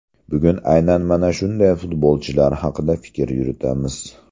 Bugun aynan mana shunday futbolchilar haqida fikr yuritamiz.